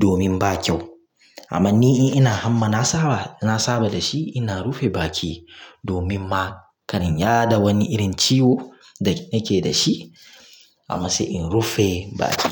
domin ba kyau. Amma ni in ina hamma, na saba na saba da shi. Ina rufe baki domin ma ƙar in yaɗa wani irin ciwo da yake da shi amma sai in rufe baki.